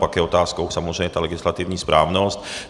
Pak je otázkou samozřejmě ta legislativní správnost.